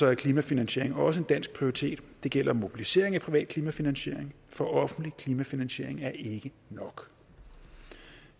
er klimafinansiering også en dansk prioritet det gælder mobilisering af privat klimafinansiering for offentlig klimafinansiering er ikke nok